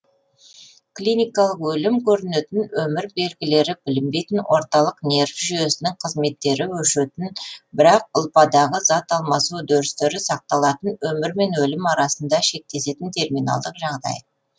клиникалық өлім көрінетін өмір белгілері білінбейтін орталық нерв жүйесінің қызметтері өшетін бірақ ұлпадағы зат алмасу үдерістері сақталатын өмір мен өлім арасында шектесетін терминалдық жағдай